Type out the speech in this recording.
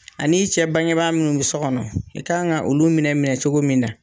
A n'i cɛ bangebaa munnu bi so kɔnɔ, i kan ka olu minɛ minɛ cogo min na